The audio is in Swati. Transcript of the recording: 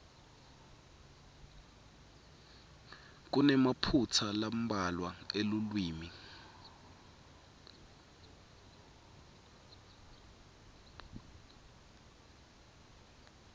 kunemaphutsa lambalwa elulwimi